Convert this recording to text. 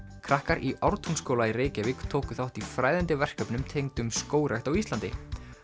krakkar í Ártúnsskóla í Reykjavík tóku þátt í fræðandi verkefnum tengdum skógrækt á Íslandi